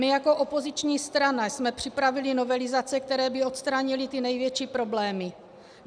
My jako opoziční strana jsme připravili novelizace, které by odstranily ty největší problémy.